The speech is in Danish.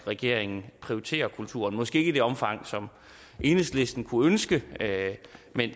regeringen prioriterer kulturen måske ikke i det omfang som enhedslisten kunne ønske